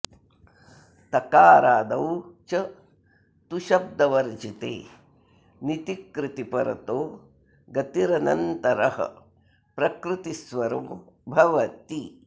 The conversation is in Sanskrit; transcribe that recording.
तकारादौ च तुशब्दवर्जिते निति कृति परतो गतिरनन्तरः प्रकृतिस्वरो भवति